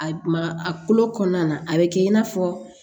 A ma a kolo kɔnɔna a bɛ kɛ i n'a fɔ